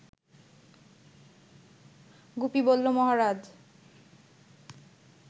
গুপি বলল, মহারাজ